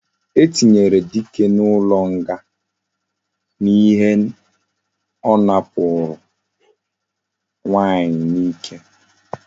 E tinyere dike na ulo nga na ihe na owakporo nwanyi na ike